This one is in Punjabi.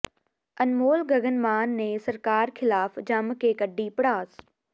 ਅਨਮੋਲ ਗਗਨ ਮਾਨ ਨੇ ਸਰਕਾਰ ਖਿਲਾਫ ਜੰਮ ਕੇ ਕੱਢੀ ਭੜਾਸ